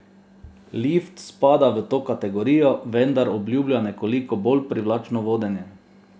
Lift spada v to kategorijo, vendar obljublja nekoliko bolj privlačno vodenje.